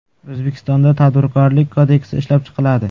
O‘zbekistonda Tadbirkorlik kodeksi ishlab chiqiladi.